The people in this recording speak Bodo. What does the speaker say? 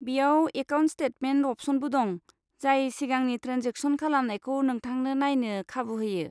बेयाव एकाउन्ट स्टेटमेन्ट अप्शनबो दं, जाय सिगांनि ट्रेनजेक्सन खालामनायखौ नोंथांनो नायनो खाबु होयो।